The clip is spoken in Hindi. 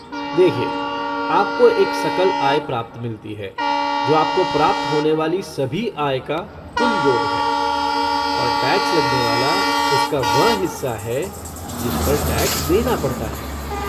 देखिये, आपको एक सकल आय प्राप्त मिलती है, जो आपको प्राप्त होने वाली सभी आय का कुल योग है, और टैक्स लगने वाला उसका वह हिस्सा है जिस पर टैक्स देना पड़ता है।